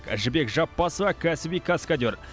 жібек жаппасова кәсіби каскадер